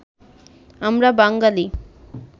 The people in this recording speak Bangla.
আমরা বাঙালি